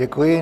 Děkuji.